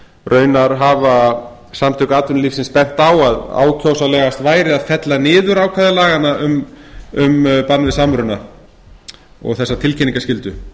raunar hafa samtök atvinnulífsins bent á að ákjósanlegast væri að fella niður ákvæði laganna um bann við samruna og þessa tilkynningaskyldu